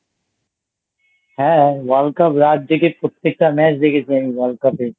হ্যাঁ World Cup রাত জেগে প্রত্যেকটা Match দেখেছি আমি World Cup এ।